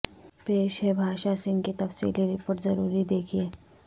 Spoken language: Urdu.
پیش ہے بھاشا سنگھ کی تفصیلی رپورٹ ضروری دیکھیں